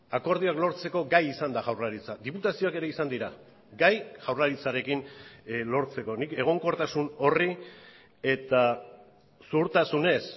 akordioak lortzeko gai izan da jaurlaritza diputazioak ere izan dira gai jaurlaritzarekin lortzeko nik egonkortasun horri eta zuhurtasunez